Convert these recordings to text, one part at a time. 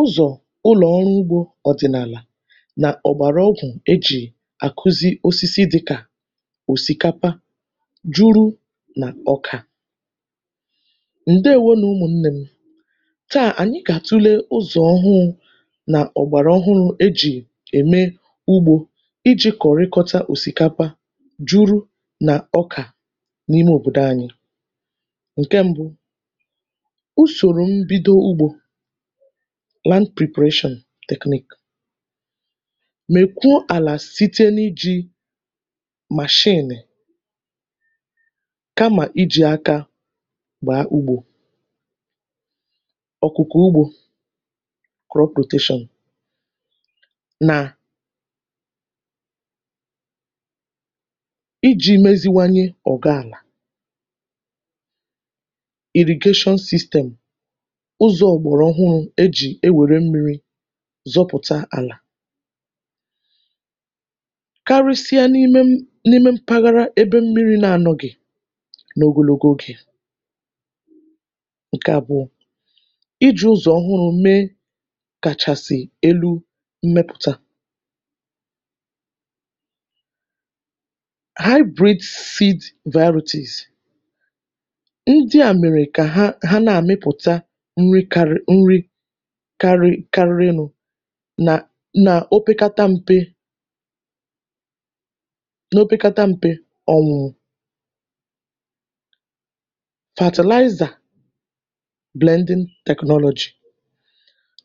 ụzọ̀ ụlọ̀ ọrụ ugbō ọ̀dịnàlà, nà ọ̀gbàrà ọgwụ̀ e jì à kụzi osisi dịkà òsị̀kapa juru nà ọkà. ǹdèwo nụ̀ ụmụ̄ nnẹ m. tà, ànyị gà àtule ụzọ̀ ọhụụ̄, nà ọ̀gbàrà ọhụrụ e jì ẹ̀mẹ ugbō, I jī kọ̀ọ nkọta òsìkapa, juru nà ọkà, n’ime òbòdo anyị. ǹkẹ mbụ, usòrò mbido ugbō, right preparation technique. mèpe àlà, site n’ijī màshịnị̀, kamà ijì aka bàa ugbō. ọ̀kụ̀kọ̀ ugbō, crop rotation, nà I jī meziwanye ọ̀gọ àlà. irrigation system, ụzọ̄ ọ̀gbàrà ọhụrụ̄ e jì wère mmīri zọpụ̀ta àlà. karịsịa n’ime n’ime mpaghara ebe mmīri na anọghị̀, n’ogonogo ogè. ǹkẹ abụọ, I jī ụzọ̀ ọhụrụ̄ me kàchàsị̀ elu mmepụ̀ta. hybrid seed varities. ndị à mèrè kà ha nà ẹ̀mẹpụ̀ta nri karịrị nụ̄, nà nà opekata mpe, n’opekata mpe, ọ̀mụ̀mụ̀. fertilizer, blending technology.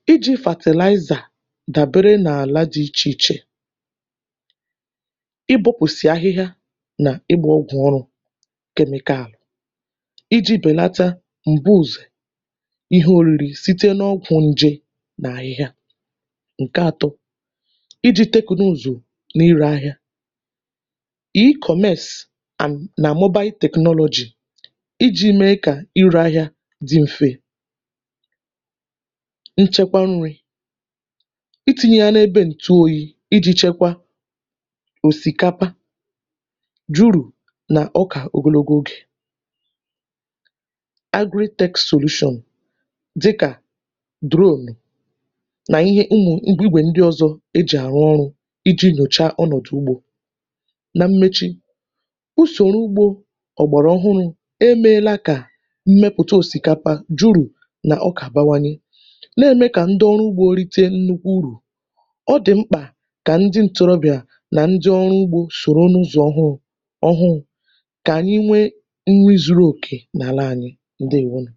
I jī fertilizer dàbere n’àla dị ichè ichè, ị dọ̄pụ̀sị̀ ahị anà ugbō ǹkè ọrụ̄, chemical, I jī bèlata m̀bùzọ̀ ihe nrī, site n’oko nje nà ahịhịa. ǹkẹ atọ, I jī tẹkụnụ̀zụ̀ n’ilē ahịa. e-commerce and nà mobile technology, I jī me kà ịlẹ̄ ahịa dị mfe. nchẹkwa nrī, I tīnye ọrụdụ̄ ǹtu oyī, I jī chẹkwa òsìkapa, dune, nà ọkà ogonogo ogè. aggrotech solution, dịkà drone, nà ihe ndị igwè ndị ọzọ e jì àrụ ọrụ̄, I jī nyòcha ọnọ̀dụ̀ ugbō. na mmechi, usòro ugbō ọ̀gbàra ọhụrụ e mēela kà mmepụ̀ta òsìkapa, dune, nà ọkà bawanye, nà ème kà ndị ọrụ ugbō rite nnukwu uru. ọ dị̀ mkpà kà ndị ntorobị̀à, nà ndị ọrụ ugbō sòro n’ụzọ̀ ọhụ, ọhụrụ̄, kà ànyị nwe nri zuru òkè n’àla anyị. ǹdèwo nụ̀.